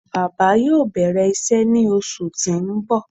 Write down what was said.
Baba yoo bẹrẹ iṣẹ ni oṣu ti n bọ